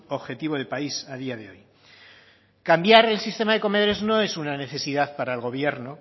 objetivo de país a día de hoy cambiar el sistema de comedores no es una necesidad para el gobierno